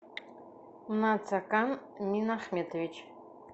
нацакан минахметович